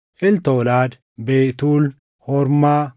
Eltolaad, Betuul, Hormaa,